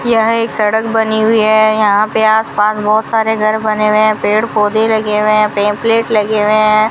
यह एक सड़क बनी हुई है यहां पे आस पास बहोत सारे घर बने हुए हैं पेड़ पौधे लगे हुए हैं पंपलेट लगे हुए हैं।